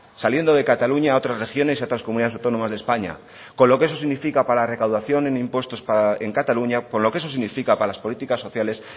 saliendo de cataluña a otras regiones y a otras comunidades autónomas de españa con lo que eso significa para la recaudación en impuestos para en cataluña con lo que eso significa para las políticas sociales